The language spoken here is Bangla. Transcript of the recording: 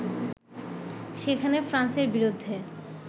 সেখানে ফ্রান্সের বিরুদ্ধে